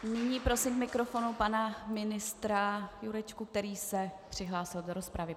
Nyní prosím k mikrofonu pana ministra Jurečku, který se přihlásil do rozpravy.